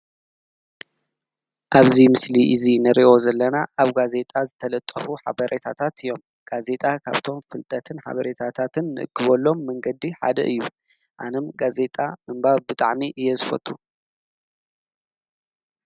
ኣብዚ ምስሊ እዚ ንሪኦ ዘለና ኣብ ጋዜጣ ዝተለጠፍ ሓበሬታታት እዮም። ጋዜጣ ካብቶም ፍልጠትን ሓበሬታታትን ንእክበሎም መንገዲ ሓደ እዩ ኣነ ጋዜጣ ምንባብ ብጣዕሚ እየ ዝፈቱ።